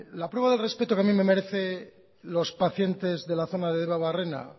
la prueba de respeto que a mí me merece los pacientes de la zona de debabarrena